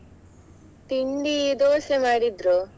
ತಿಂಡಿ ದೋಸೆ ಮಾಡಿದ್ರು.